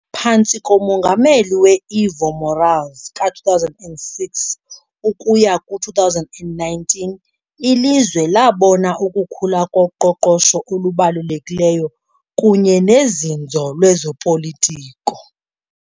Phantsi komongameli we -Evo Morales ka-2006-2019 ilizwe labona ukukhula koqoqosho olubalulekileyo kunye nozinzo lwezopolitiko.